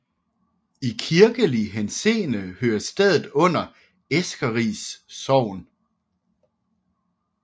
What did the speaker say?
I kirkelig henseende hører stedet under Eskeris Sogn